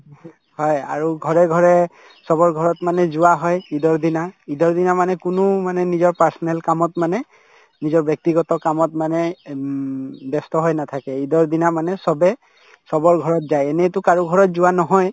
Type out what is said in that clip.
হয় আৰু ঘৰে ঘৰে চবৰ ঘৰত মানে যোৱা হয় ঈদৰ দিনা ঈদৰ দিনা মানে কোনো মানে নিজৰ personal কামত মানে নিজৰ ব্যক্তিগত কামত মানে উম ব্যস্ত হৈ নাথাকে ঈদৰ দিনা মানে চবে চবৰ ঘৰত যায় এনেতো কাৰো ঘৰত যোৱা নহয়